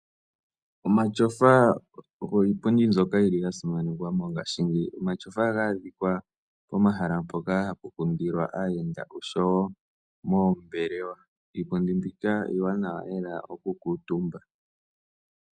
Omatyofa ogo iipundi mbyoka ya simanekwa mongashingeyi. Omatyofa ohaga adhika pomahala mpoka hapu kundilwa aayenda nosho wo moombelewa. Iipundi mbika iiwanawa lela okukuutumba.